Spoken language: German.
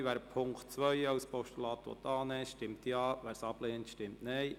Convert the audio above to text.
Wer den Punkt 2 als Postulat annimmt, stimmt Ja, wer diesen ablehnt, stimmt Nein.